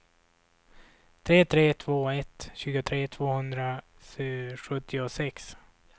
tre tre två ett tjugotre tvåhundrasjuttiosex